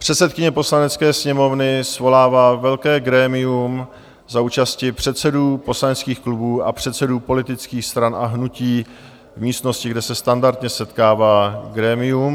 Předsedkyně Poslanecké sněmovny svolává velké grémium za účasti předsedů poslaneckých klubů a předsedů politických stran a hnutí v místnosti, kde se standardně setkává grémium.